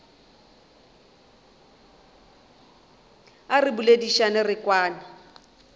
a re boledišane re kwane